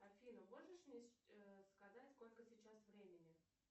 афина можешь мне сказать сколько сейчас времени